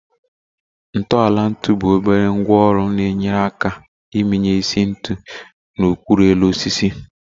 Ntọala ntu bụ obere ngwá ọrụ na-enyere aka iminye isi ntu na okpuru elu osisi